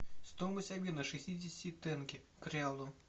стоимость обмена шестидесяти тенге к реалу